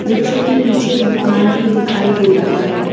रिक्शे के पीछे एक दुकान भी दिखाई दे रहा है।